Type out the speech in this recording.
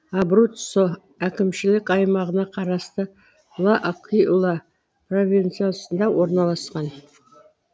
абруццо әкімшілік аймағына қарасты л акуила провинциясында орналасқан